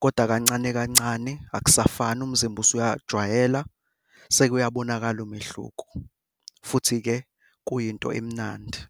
kodwa kancane kancane akusafani umzimba usuyajwayela, sekuyobonakala umehluko, futhi-ke, kuyinto emnandi.